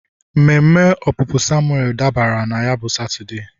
mmeme opupu Samuel dabara na ya bụ Satọde.